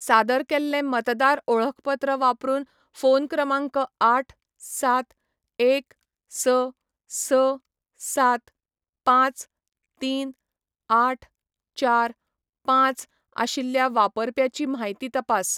सादर केल्लें मतदार ओळखपत्र वापरून फोन क्रमांक आठ, सात, एक, स, स, सात, पांच, तीन, आठ, चार, पांच आशिल्ल्या वापरप्याची म्हायती तपास.